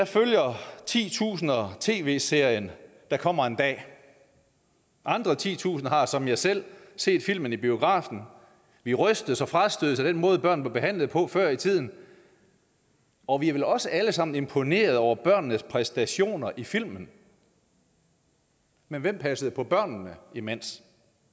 følger titusinder tv serien der kommer en dag andre titusinder har som jeg selv set filmen i biografen vi rystes og frastødes af den måde børn blev behandlet på før i tiden og vi er vel også alle sammen imponeret over børnenes præstationer i filmen men hvem passede på børnene imens